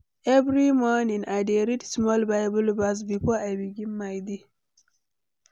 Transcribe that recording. Every morning, I dey read small Bible verse before I begin my day.